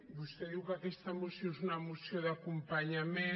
vostè diu que aquesta moció és una moció d’acompanyament